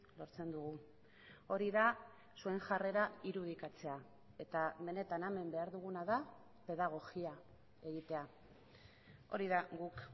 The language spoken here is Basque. lortzen dugu hori da zuen jarrera irudikatzea eta benetan hemen behar duguna da pedagogia egitea hori da guk